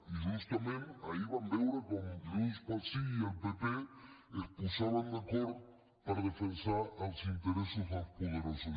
i justament ahir vam veure com junts pel sí i el pp es posaven d’acord per defensar els interessos dels poderosos